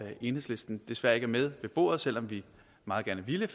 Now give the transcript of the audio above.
enhedslisten desværre ikke er med ved bordet selv om vi meget gerne ville